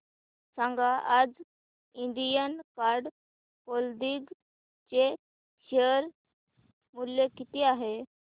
सांगा आज Indian card clothing चे शेअर मूल्य किती आहे